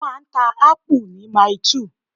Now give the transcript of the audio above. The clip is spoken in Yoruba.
A máa ń ta Ápù ni Mailí 2